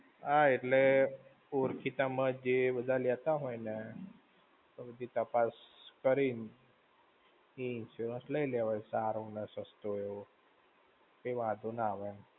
હા એટલે, ઓળખીતા માં જે બધા લેતા હોયને, તો બધી તપાસ કરીને એ insurance લઇ લેવાય, સારો ને સસ્તો. પછી વાંધો ના આવે એમ.